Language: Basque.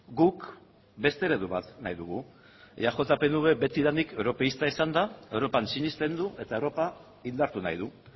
guk beste eredu bat nahi dugu eaj pnv betidanik europeista izan da europan sinesten du eta europa indartu nahi du